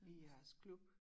I jeres klub